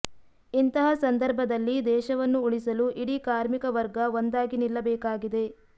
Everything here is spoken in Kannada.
ಇಂತಹ ಸಂಧರ್ಭದಲ್ಲಿ ದೇಶವನ್ನು ಉಳಿಸಲು ಇಡೀ ಕಾರ್ಮಿಕ ವರ್ಗ ಒಂದಾಗಿ ನಿಲ್ಲಬೇಕಾಗಿದೆ